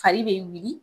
Fari be wili